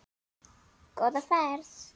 Góða ferð,